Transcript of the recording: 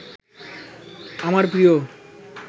আমার প্রিয়